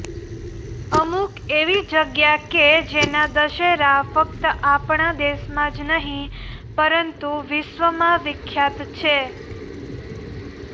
અમૂક એવી જગ્યા કે જેના દશેરા ફક્ત આપણા દેશમાં જ નહીં પરંતુ વિશ્વમાં વિખ્યાત છે